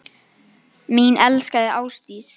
Mín elskaða Ásdís.